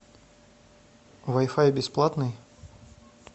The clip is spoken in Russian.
вай фай бесплатный